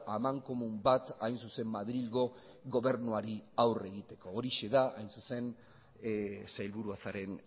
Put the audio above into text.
amankomun bat hain zuzen madrilgo gobernuari aurre egiteko horixe da hain zuzen sailburua zaren